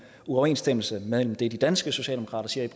uoverensstemmelse mellem det de danske socialdemokrater siger